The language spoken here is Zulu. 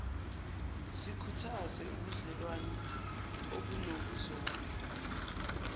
sikhuthaze ubudlewane obunokuzwana